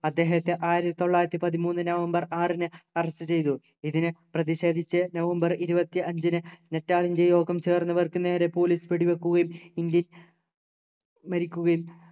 അദ്ദേഹത്തെ ആയിരത്തിത്തൊള്ളായിരത്തി പതിമൂന്നു നവംബർ ആറിന് arrest ചെയ്തു ഇതിനെ പ്രതിഷേധിച്ച് നവംബർ ഇരുപത്തി അഞ്ചിനു നറ്റാലിൻ്റെ യോഗം ചേർന്ന് അവർക്കു police വെടി വെക്കുകയും ഇന്ത്യ മരിക്കുകയും